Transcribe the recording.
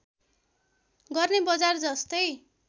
गर्ने बजार जस्तै